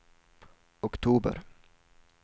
oktober